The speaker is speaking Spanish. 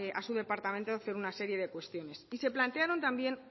a su departamento hacer una serie de cuestiones y se plantearon también